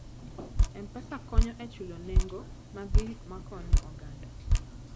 M-Pesa konyo e chulo nengo mag gik ma konyo oganda.